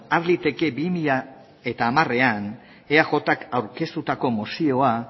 har daiteke bi mila hamarean eajk aurkeztutako mozioa